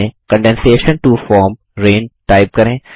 इसमें condensation to form rain type करें